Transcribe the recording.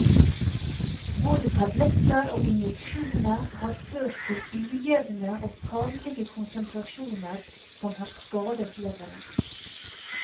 Både tabletter og injeksjoner har ført til ujevne og farlige konsentrasjoner som har skadet leveren.